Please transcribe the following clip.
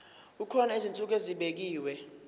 kukhona izinsuku ezibekiwe